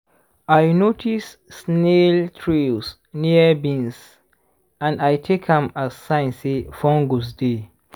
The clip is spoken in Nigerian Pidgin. i notice snail trails near beans and i take am as sign say fungus dey.